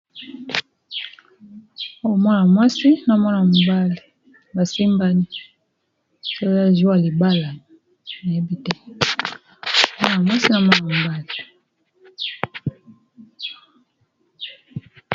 Oyo mwana mwasi na mwana mobali basimbani, soki eza mokolo ya libala nayebi te, mwana mwasi na mwana mobali.